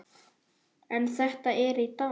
En þetta er í dag.